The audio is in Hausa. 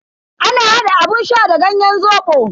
Ana hada abun sha da ganyen zobo.